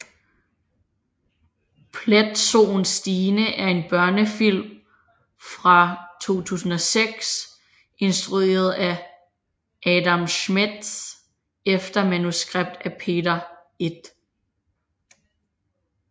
Pletsoen Stine er en børnefilm fra 2006 instrueret af Adam Schmedes efter manuskript af Peter I